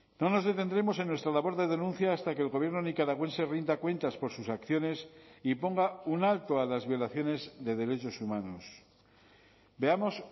no nos detendremos en nuestra labor de denuncia hasta que el gobierno nicaragüense rinda cuentas por sus acciones y ponga un alto a las violaciones de derechos humanos veamos